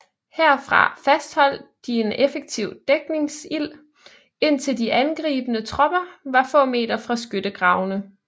Herfra fastholdt de en effektiv dækningsild indtil de angribende tropper var få meter fra skyttegravene